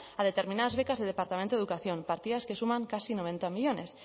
a determinas becas del departamento de educación partidas que suman casi noventa millónes